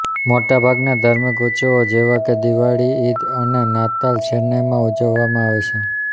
મોટાભાગના ધાર્મિક ઉત્સવો જેવા કે દિવાળી ઈદ અને નાતાલ ચેન્નઈમાં ઉજવવામાં આવે છે